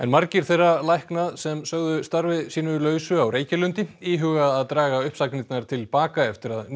margir þeirra lækna sem sögðu starfi sínu lausu á Reykjalundi íhuga að draga uppsagnirnar til baka eftir að ný